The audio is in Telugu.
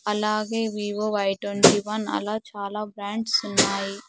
అలాగే వివో వై ట్వంటీవన్ అలా చాలా బ్రాండ్స్ ఉన్నాయి.